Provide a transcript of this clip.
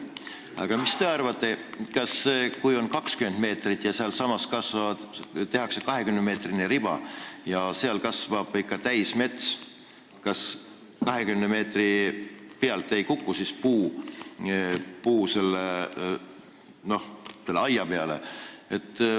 Aga mis te arvate, kui tehakse 20-meetrine riba ja sealsamas kasvab ikka täismets, kas siis 20 meetri pealt ei kuku puud selle aia peale?